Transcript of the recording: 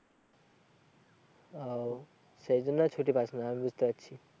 ও সেই জন্য ছুটি পাস না বুঝতে পারছি।